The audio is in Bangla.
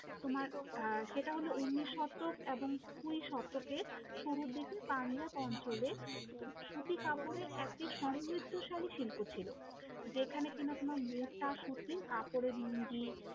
তোমার আহ সেটা হলো ঊনিশ শতক এবং কুড়ি শতকের শুরুর দিকে পাঞ্জাব অঞ্চলে সুতি কাপড়ে একটি সমৃদ্ধশালী শিল্প ছিল, যেখানে কিনা তোমার মোটা সুতির কাপড়ের লুঙ্গি